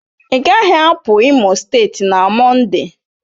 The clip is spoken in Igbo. Ị gaghị apụ Imo steeti na Mọnde